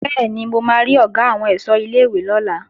Bẹ́ẹ̀ni, mo máa rí Ọ̀gá àwọn ẹ̀ṣọ́ ilé-ìwé lọ́la